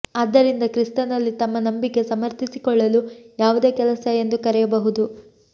ಆದ್ದರಿಂದ ಕ್ರಿಸ್ತನಲ್ಲಿ ತಮ್ಮ ನಂಬಿಕೆ ಸಮರ್ಥಿಸಿಕೊಳ್ಳಲು ಯಾವುದೇ ಕೆಲಸ ಎಂದು ಕರೆಯಬಹುದು